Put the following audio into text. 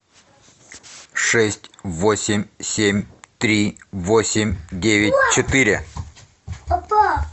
шесть восемь семь три восемь девять четыре